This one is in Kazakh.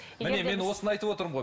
міне мен осыны айтып отырмын ғой